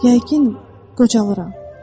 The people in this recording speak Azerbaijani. Yəqin qocalıram.